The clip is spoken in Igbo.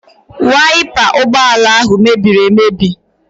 Waipa ụgbọala ahụ mebiri emebi.